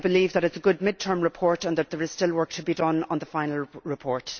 I believe that it is a good mid term report and that there is still work to be done on the final report.